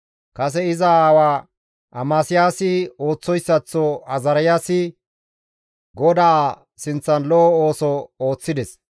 Kase iza aawa Amasiyaasi ooththoyssaththo Azaariyaasikka GODAA sinththan lo7o ooso ooththides.